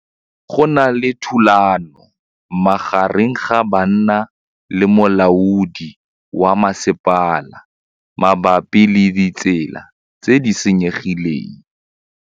Go na le thulanô magareng ga banna le molaodi wa masepala mabapi le ditsela tse di senyegileng.